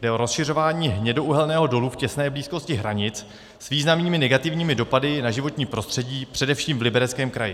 Jde o rozšiřování hnědouhelného dolu v těsné blízkosti hranic s významnými negativními dopady na životní prostředí především v Libereckém kraji.